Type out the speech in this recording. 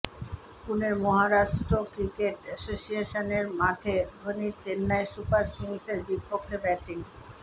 পুনের Maharashtra cricket এসোসিয়েশানের মাঠে ধোনির চেন্নাই সুপার কিংসের বিপক্ষে ব্যাটিং